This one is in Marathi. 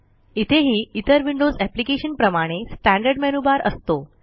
इथेही इतर विंडोज एप्लिकेशन प्रमाणे स्टँडर्ड मेनूबार असतो